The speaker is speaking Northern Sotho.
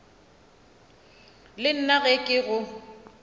le nna ge ke go